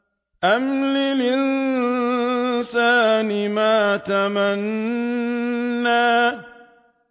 أَمْ لِلْإِنسَانِ مَا تَمَنَّىٰ